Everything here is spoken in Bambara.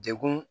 Degun